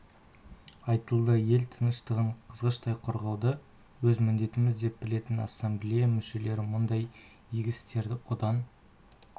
айтылды ел тыныштығын қызғыштай қорғауды өз міндетіміз деп білетін ассамблея мүшелері мұндай игі істерді одан